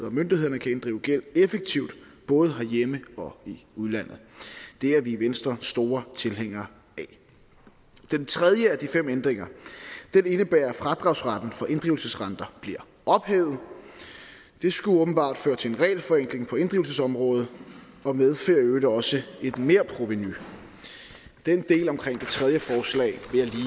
og myndighederne kan inddrive gæld effektivt både herhjemme og i udlandet det er vi i venstre store tilhængere af den tredje af de fem ændringer indebærer at fradragsretten for inddrivelsesrenter bliver ophævet det skulle åbenbart føre til en regelforenkling på inddrivelsesområdet og medfører i øvrigt også et merprovenu den del omkring det tredje forslag